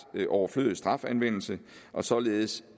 overflødig strafanvendelse og således